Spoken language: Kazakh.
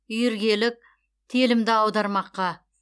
үйіргелік телімді аудармаққа